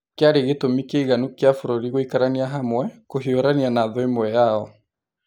kĩarĩ gĩtũmi kĩiganu kĩa bũrũri gũikarania hamwe, kũhiũrania na thũ ĩmwe yao.